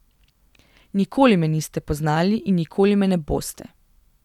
Nikoli me niste poznali in nikoli me ne boste.